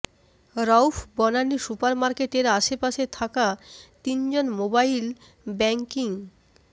Rauf Banani super মার্কেটের আশপাশে থাকা তিনজন মোবাইল ব্যাংকিং